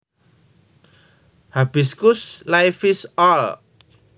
Hibiscus laevis All